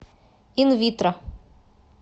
инвитро